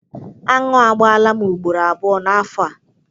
Aṅụ agbaala m ugboro abụọ n'afọ a.